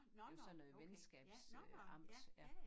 Det var sådan noget venskabs øh amts ja